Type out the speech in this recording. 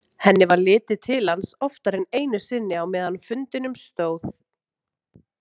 Henni varð litið til hans oftar en einu sinni á meðan fundinum stóð.